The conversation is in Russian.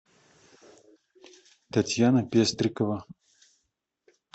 татьяна пестрикова